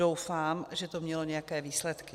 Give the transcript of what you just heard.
Doufám, že to mělo nějaké výsledky.